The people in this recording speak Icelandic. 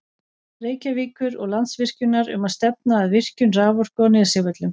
Reykjavíkur og Landsvirkjunar um að stefna að virkjun raforku á Nesjavöllum.